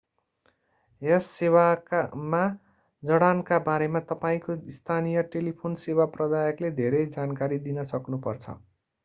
यस सेवामा जडानका बारेमा तपाईंको स्थानीय टेलिफोन सेवा प्रदायकले धेरै जानकारी दिन सक्नु पर्छ